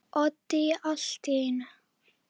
Oddný allt í einu.